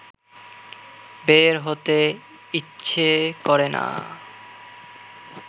বের হতে ইচ্ছা করে না